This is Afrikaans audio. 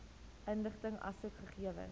inligting asook gegewens